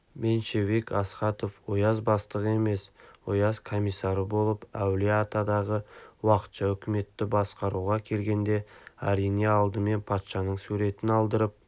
меньшевик астахов ояз бастығы емес ояз комиссары болып әулие-атадағы уақытша үкіметті басқаруға келгенде әрине алдымен патшаның суретін алдырып